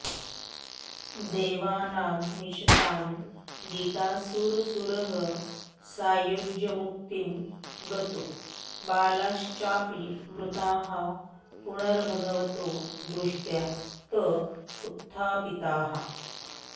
देवानां मिषतां गतासुरसुरः सायुज्यमुक्तिं गतो बालाश्चापि मृताः पुनर्भगवतो दृष्ट्या त उत्थापिताः